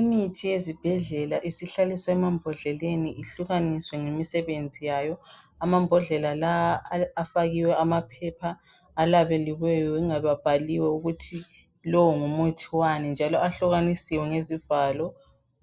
Imithi yezibhedlela isihlaliswe'mambodleleni ihlukaniswe ngemisebenzi yayo amabhodlela la afakiwe amaphepha alabeliweyo ingabe abhaliwe ukuthi lowo ngumuthi wani njalo ahlukanisiwe ngezivalo